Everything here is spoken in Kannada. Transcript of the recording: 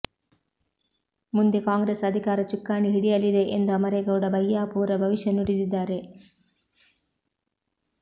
ಮುಂದೆ ಕಾಂಗ್ರೆಸ್ ಅಧಿಕಾರ ಚುಕ್ಕಾಣಿ ಹಿಡಿಯಲಿದೆ ಎಂದು ಅಮರೇಗೌಡ ಬಯ್ಯಾಪೂರ ಭವಿಷ್ಯ ನುಡಿದಿದ್ದಾರೆ